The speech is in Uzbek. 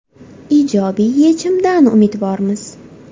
Ijobiy yechimdan umidvormiz.